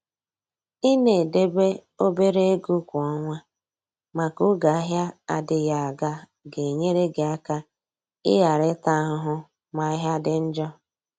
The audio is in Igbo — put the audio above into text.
i na edebe obere ego kwa ọnwa maka oge ahịa adịghị aga. ga-enyere gị aka i ghara ịta ahụhụ ma ahịa dị njọ.